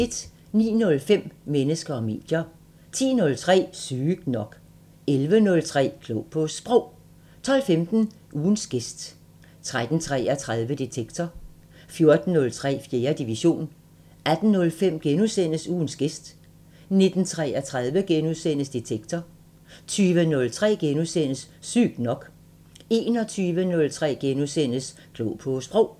09:05: Mennesker og medier 10:03: Sygt nok 11:03: Klog på Sprog 12:15: Ugens gæst 13:33: Detektor 14:03: 4. division 18:05: Ugens gæst * 19:33: Detektor * 20:03: Sygt nok * 21:03: Klog på Sprog *